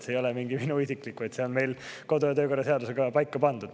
See ei ole mingi minu isiklik, vaid see on meil kodu- ja töökorra seadusega paika pandud.